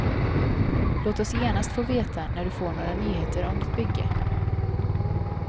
Låt oss genast få veta när du får några nyheter om ditt bygge.